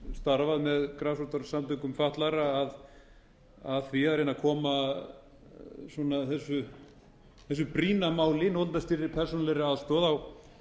starfað með grasrótarsamtökum fatlaðra að því að reyna að koma þessu brýna máli notendastýrðri persónulegri aðstoð á